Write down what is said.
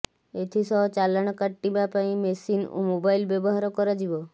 ଏଥିସହ ଚାଲାଣ କଟିବା ପାଇଁ ମେସିନ ଓ ମୋବାଇଲ ବ୍ୟବହାର କରାଯିବ